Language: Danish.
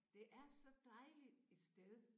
Det er så dejligt et sted